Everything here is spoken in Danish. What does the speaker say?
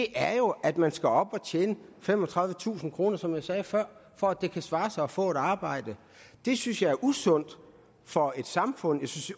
er jo at man skal op at tjene femogtredivetusind kr som jeg sagde før for at det kan svare sig at få et arbejde det synes jeg er usundt for et samfund